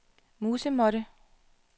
musemåtte